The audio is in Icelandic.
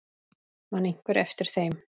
Man einhver eftir þeim?